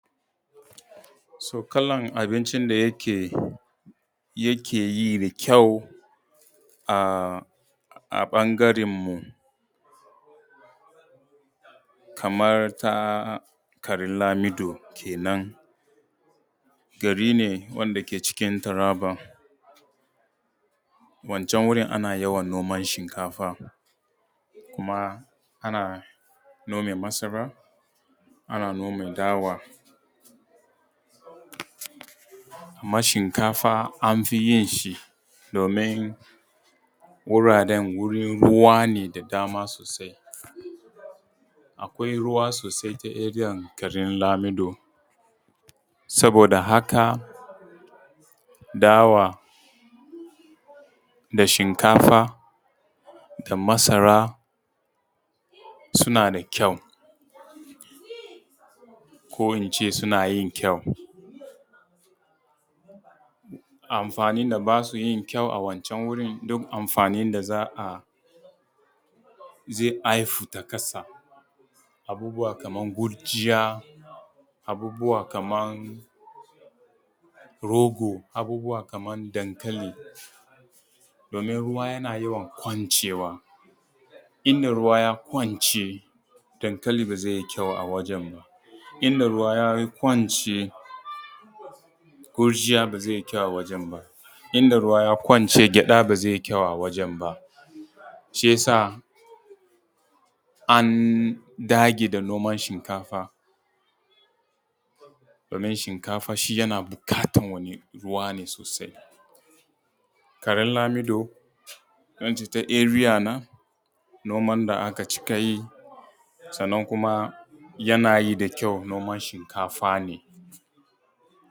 Kalan abincin da yake yi da kyau a ɓangaren mu kamar ta garin lamiɗo kenan, gari ne wanda ke cikin taraba, wancan wurin ana yawan noman shinkafa, kuma ana noma masara, kuma ana nome dawa, amma shinkafa an fi yin shi domin wuraren wurin ruwane da dama sosai, akwai ruwa sosai ta area garin lamiɗo saboda haka dawa da shinkafa da masara suna da kyau ko in ce suna yin kyau. Amfanin da ba su yin kyau a wancan wurin duk amfanin da zai haihu ta ƙasa abubuwa kaman gujiya, abubuwa kaman rogo, abubuwa kaman dankali domin ruwa yana yawan kwancewa domin inda ruwa ya kwance dankali ba zai yi kayau a wajan ba, inda ruwa ya kwance gujiya ba zai yi kyau a wajan ba, inda ruwa ya kwance gyaɗa ba zai yi kyau a wajan ba. shi yasa an dage da noman shinkafa, domin shinkafa shi yana buƙatar wajan ruwa ne sosai. Garin lamiɗo ko in ce ta area na, noman da aka cika yi, sannan kuma yana yi da kyau noma shinkafa ne.